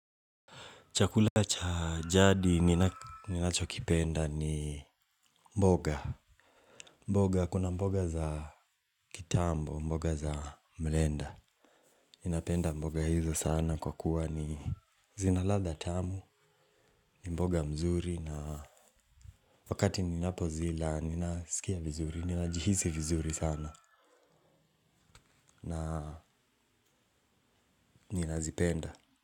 Chakula cha jadi ninacho kipenda ni mboga. Mboga kuna mboga za kitambo, mboga za mlenda. Ninapenda mboga hizo sana kwa kuwa ni zinaladha tamu, mboga mzuri na wakati ninapozila ninasikia vizuri, ninajihisi vizuri sana na ninazipenda.